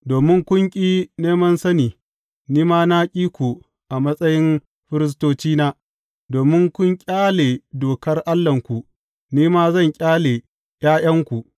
Domin kun ƙi neman sani, ni ma na ƙi ku a matsayin firistocina; domin kun ƙyale dokar Allahnku, ni ma zan ƙyale ’ya’yanku.